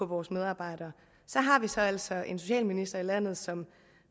vores medarbejdere har vi så altså en socialminister i landet som